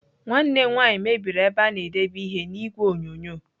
Nwanne m nwaanyị mebiri ebe a na-edebe ihe n'igwe onyonyo.